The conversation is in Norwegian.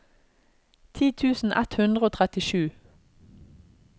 ti tusen ett hundre og trettisju